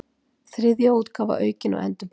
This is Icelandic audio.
Þriðja útgáfa, aukin og endurbætt.